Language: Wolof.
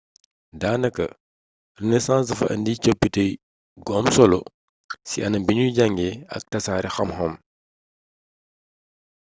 daanaka renaissance dafa indi coppite gu am solo ci anam biñuy njànge ak tasaare xam-xam